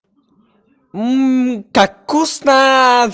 мм как вкусно